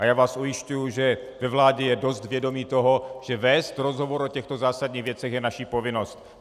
A já vás ujišťuji, že ve vládě je dost vědomí toho, že vést rozhovor o těchto zásadních věcech je naše povinnost.